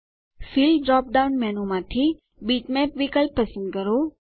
fill drop down મેનૂમાંથી bitmap વિકલ્પ પસંદ કરો